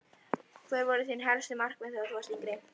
Hver voru þín helstu markmið þegar þú varst yngri?